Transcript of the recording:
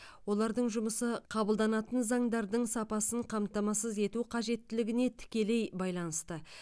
олардың жұмысы қабылданатын заңдардың сапасын қамтамасыз ету қажеттілігіне тікелей байланысты